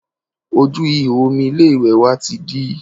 Ojú ìhò omi ilé ìwẹ̀ wa ti dí